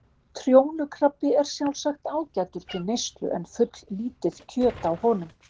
Trjónukrabbi er sjálfsagt ágætur til neyslu en fulllítið kjöt á honum.